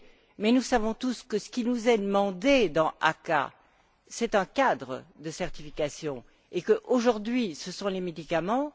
Mais nous savons tous que ce qui nous est demandé dans l'ACAA, c'est un cadre de certification, et qu'aujourd'hui, ce sont les médicaments.